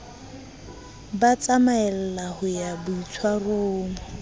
ba tsamaella ho ya boitshwarong